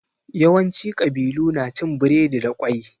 Yawanci ƙabilu na cin biredi da ƙwai.